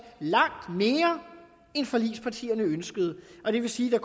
langt mere end forligspartierne ønskede og det vil sige at